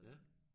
Ja